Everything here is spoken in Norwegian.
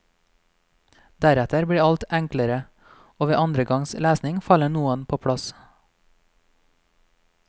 Deretter blir alt enklere, og ved andre gangs lesning faller noe på plass.